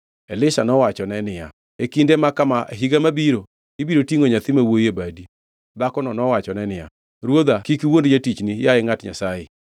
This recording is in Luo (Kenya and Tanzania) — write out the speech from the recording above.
Elisha nowachone niya, “E kinde ma kama e higa mabiro, ibiro tingʼo nyathi ma wuowi e badi.” Dhakono nowachone niya, “Ruodha, kik iwuond jatichni, yaye ngʼat Nyasaye!”